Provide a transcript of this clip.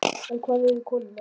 En hvar eru konurnar?